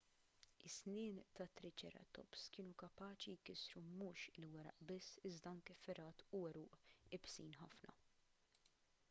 is-snien tat-triċeratops kienu kapaċi jkissru mhux il-weraq biss iżda anke fergħat u għeruq iebsin ħafna